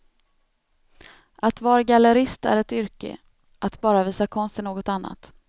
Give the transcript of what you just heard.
Att var gallerist är ett yrke, att bara visa konst är något annat.